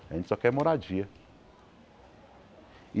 A gente só quer moradia.